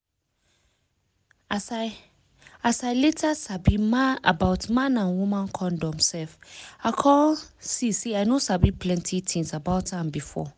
as i later sabi about man and woman condom sef i come see say i no sabi plenty things about am before.